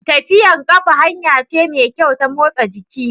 Tafiyar ƙafa hanya ce mai kyau ta motsa jiki.